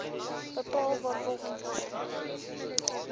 bepaal waarvolgens oester